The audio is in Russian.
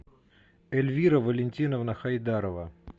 эльвира валентиновна хайдарова